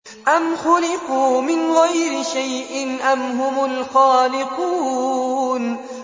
أَمْ خُلِقُوا مِنْ غَيْرِ شَيْءٍ أَمْ هُمُ الْخَالِقُونَ